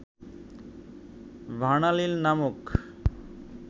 ভার্নালিন নামক